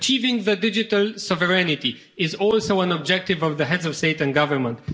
Achieving digital sovereignty is also an objective of the Heads of State and Government.